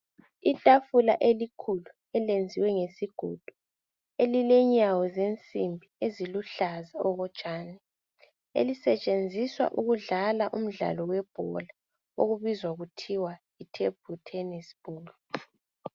Itafula elikhulu elenziwe ngesigodo elile nyawo zensimbi oluhlaza okotshani olusetshenzisa ukudalala imidlalo okuthiwa yi thebhlu thenesi.